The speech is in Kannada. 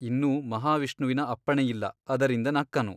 ಇನ್ನೂ ಮಹಾವಿಷ್ಣುವಿನ ಅಪ್ಪಣೆಯಿಲ್ಲ ಅದರಿಂದ ನಕ್ಕನು.